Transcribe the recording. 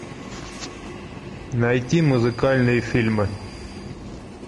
найти музыкальные фильмы